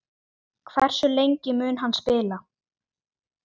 Hversu lengi mun hann spila?